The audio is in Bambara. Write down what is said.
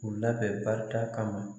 K'u labɛn barita kama.